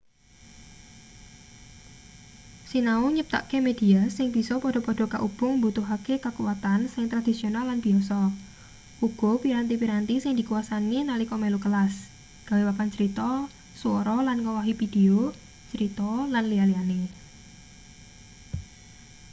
sinau nyiptakke media sing bisa padha-padha kaubung mbutuhake kakuwatan sing tradisional lan biyasa uga piranti-piranti sing dikuwasani nalika melu kelas gawe papan crita swara lan ngowahi pideo crita lan liya-liyane.